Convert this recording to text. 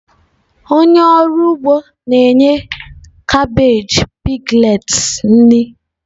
Onye ọrụ ugbo na-enye kabeeji piglets nri.